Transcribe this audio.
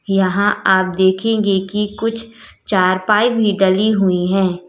यहां आप देखेंगे कि कुछ चारपाई भी डली हुई हैं।